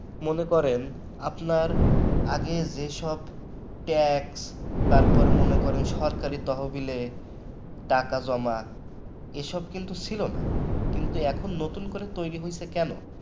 মনে করেন আপনার আগে যেসব tax মনে করেন সরকারি তহবিলে টাকা জমা এসব কিন্তু ছিল না কিন্তু এখন নতুন করে তৈরি হয়েছে কেন?